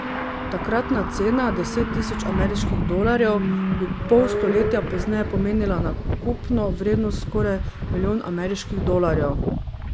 Takratna cena deset tisoč ameriških dolarjev bi pol stoletja pozneje pomenila nakupno vrednost skoraj milijon ameriških dolarjev.